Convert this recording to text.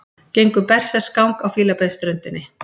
Gengu berserksgang á Fílabeinsströndinni